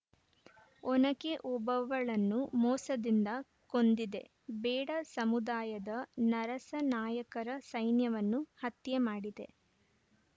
ಒನಕೆ ಓಬವ್ವಳನ್ನು ಮೋಸದಿಂದ ಕೊಂದಿದೆ ಬೇಡ ಸಮುದಾಯದ ನರಸನಾಯಕರ ಸೈನ್ಯವನ್ನು ಹತ್ಯೆ ಮಾಡಿದೆ